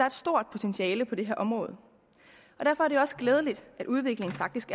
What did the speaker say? et stort potentiale på det her område derfor er det også glædeligt at udviklingen faktisk